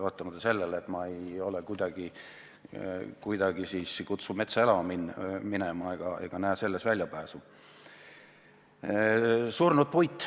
Samas ma ei kutsu üles metsa elama minema, ma ei näe selles väljapääsu.